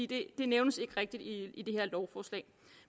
det nævnes ikke rigtigt i det her lovforslag